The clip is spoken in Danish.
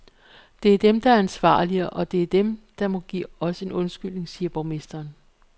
Det er dem, der er ansvarlige, og det er dem, der må give os en undskyldning, siger borgmesteren.